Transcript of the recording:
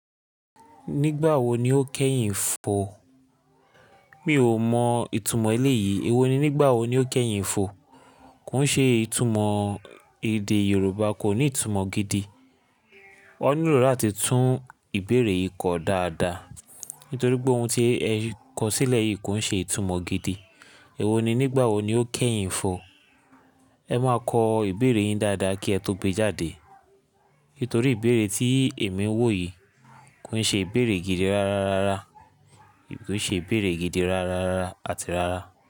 Nígbà wo ni ó kẹ́yìn ń fò? Mi ò mọ ìtumọ̀ eléyìí. Èwo ni nígbà wo ni ó kẹ́yìn ń fò? Kò ń ṣe ìtumọ̀ èdè Yorùbá, kò ní ìtumọ̀ gidi. O nílò láti tún ìbéèrè yìí kọ dáadáa. Nítorí pé ohun tí ẹ kọ sílẹ̀ yìí kò ń ṣe ìtumọ̀ gidi. Èwo ni nígbà wo ni ó kẹ́yìn ń fò? Ẹ máa kọ ìbéèrè yín dáadáa kí ẹ tó gbé jáde. Nítorí ìbéèrè tí èmi ń wò yìí kò ń ṣe ìbéèrè gidi rárá rárá. Kò ṣe ìbéèrè gidi rárá rárá àti rárá.